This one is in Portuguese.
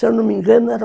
Se eu não me engano, eram